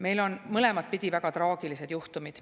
Meil on mõlemat pidi väga traagilisi juhtumeid.